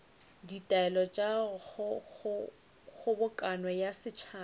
ditaelo tša kgobokano ya setšhaba